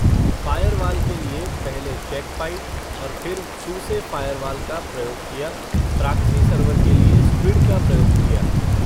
fire वाल के लिये, पहले चैक पाईट, और फिर, सूसे फ़ायरवाल का प्रयोग किया, प्राक्सी सर्वर के लिये, स्क्विड का प्रयोग किया